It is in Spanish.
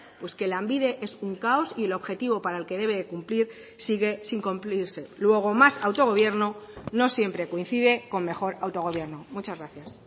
pues que lanbide es un caos y el objetivo para el que debe de cumplir sigue sin cumplirse luego más autogobierno no siempre coincide con mejor autogobierno muchas gracias